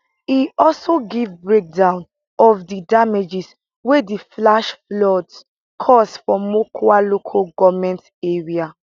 e also give breakdown of di damages wey di flash floods cause for mokwa local goment area